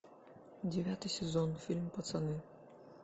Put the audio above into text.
девятый сезон фильм пацаны